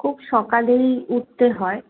খুব সকালেই উঠতে হয়।